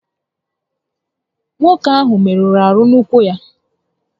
Nwoke áhụ́ merụrụ ahụ n'ụ́kwụ́ ya